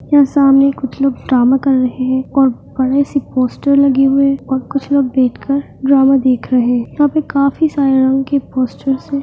यहाँ सामने कुछ लोग ड्रामा कर रहें हैं और बड़ी सी पोस्टर लगी हुई है और कुछ लोग देख रहें हैं ड्रामा देख रहें हैं यहाँ काफ़ी सारे रंग के पोस्टर हैं ।